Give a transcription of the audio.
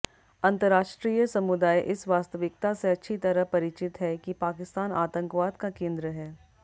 अंतरराष्ट्रीय समुदाय इस वास्तविकता से अच्छी तरह परिचित है कि पाकिस्तान आतंकवाद का केंद्र है